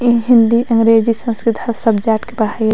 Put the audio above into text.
इ हिंदी अंग्रेजी संस्कृत हर सब्जेक्ट के पढ़ाई --